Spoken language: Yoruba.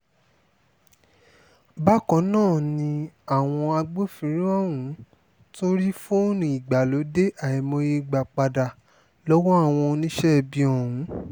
bákan náà ni àwọn agbófinró ọ̀hún tún rí fóònù ìgbàlódé àìmọye gbà padà lọ́wọ́ àwọn oníṣẹ́ ibi ọ̀hún